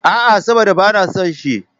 A,a, saboda ba na son shi.